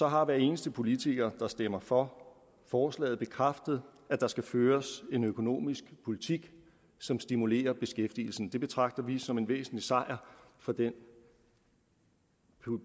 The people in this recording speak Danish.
har hver eneste politiker der stemmer for forslaget bekræftet at der skal føres en økonomisk politik som stimulerer beskæftigelsen det betragter vi som en væsentlig sejr for den